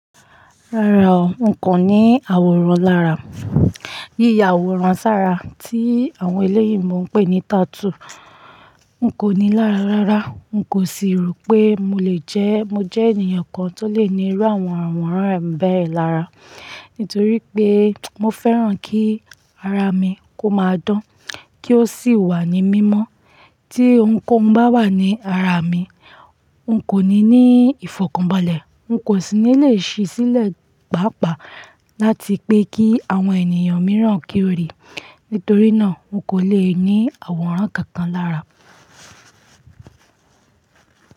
Rárá o, n kò ní àwòrán lára. Yíyà àwòrán sára tí àwọn oloyinbo n pè ní tattoo n kò ní lára rárá. N kò sì rò pé mo le jẹ́, mo jẹ́ ènìyàn kan tó lè ní irú àwọn àwòrán bai lára. Nítorí pé mo fẹ́ràn kí ara mi kó máa dán, kí ó sì wà ní mímọ́. Tí ohun kohun bá wà ní ara mi, n kò ní ní ìfọ̀kànbalẹ̀, n kò sì ní lè ṣí sílẹ̀ pàápàá láti pé kí àwọn ènìyàn mìíràn kí ó rí. Nítorí náà n kò le ní àwòrán kankan lára.